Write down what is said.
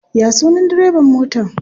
Ya sunan direban motan?